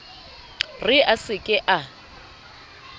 re a se ke a